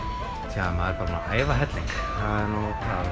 tja maður er bara búinn æfa helling